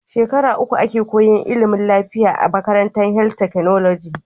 Shekara uku ake koyan ilimin lafiya a makarantar health technology